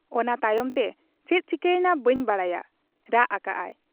ᱚᱱᱟ ᱛᱟᱭᱚᱢᱛᱮ ᱪᱮᱫ ᱪᱤᱠᱟᱹ ᱮᱱᱟ ᱵᱟᱹᱧ ᱵᱟᱰᱟᱭᱟ ᱾' ᱨᱟᱜ ᱟᱠᱟᱜ ᱟᱭ ᱾